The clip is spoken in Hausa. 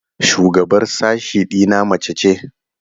Shugabar sashe ɗina mace ce.